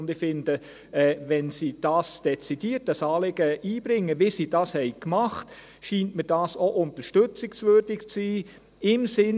Ich finde, wenn sie dieses Anliegen dezidiert einbringen, wie sie dies gemacht haben, scheint mir dies im Sinn des Ganzen auch unterstützungswürdig zu sein.